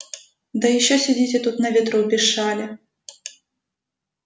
да ещё сидите тут на ветру без шали